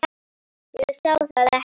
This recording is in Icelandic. Ég sá það ekki.